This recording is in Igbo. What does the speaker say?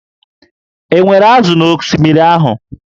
E nwere ázụ̀ na osimiri ahụ?